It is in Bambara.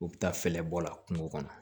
U bɛ taa fɛɛrɛ bɔ a la kungo kɔnɔ